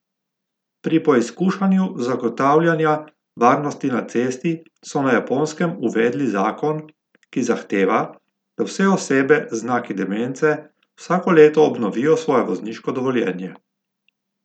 Pri poizkušanju zagotavljanja varnosti na cesti so na Japonskem uvedli zakon, ki zahteva, da vse osebe z znaki demence vsako leto obnovijo svoje vozniško dovoljenje.